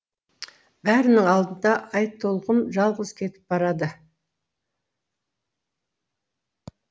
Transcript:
бәрінің алдында айтолқын жалғыз кетіп барады